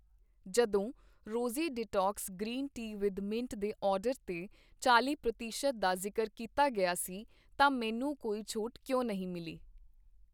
ਜਦੋਂ Rosie detox green tea with mint ਦੇ order 'ਤੇ ਚਾਲੀ ਪ੍ਰਤੀਸ਼ਤ ਦਾ ਜ਼ਿਕਰ ਕੀਤਾ ਗਿਆ ਸੀ ਤਾਂ ਮੈਨੂੰ ਕੋਈ ਛੋਟ ਕਿਉਂ ਨਹੀਂ ਮਿਲੀ ?